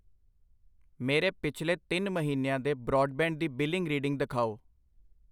ਮੇਰੇ ਪਿਛਲੇ ਤਿੰਨ ਮਹੀਨਿਆਂ ਦੇ ਬਰਾਡਬੈਂਡ ਦੀ ਬਿਲਿੰਗ ਰੀਡਿੰਗ ਦਿਖਾਓ।